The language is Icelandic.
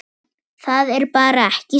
Það er bara ekki satt.